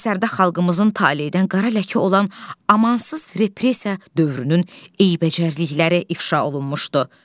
Əsərdə xalqımızın taleydən qara ləkə olan amansız repressiya dövrünün eybəcərlikləri ifşa olunmuşdu.